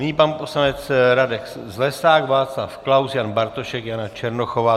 Nyní pan poslanec Radek Zlesák, Václav Klaus, Jan Bartošek, Jana Černochová.